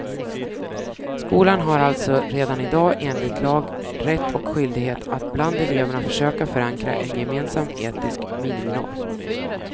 Skolan har alltså redan i dag enligt lag rätt och skyldighet att bland eleverna försöka förankra en gemensam etisk miniminorm.